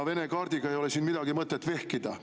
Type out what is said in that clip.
Vene kaardiga ei ole siin mõtet vehkida.